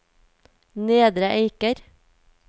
Nedre Eiker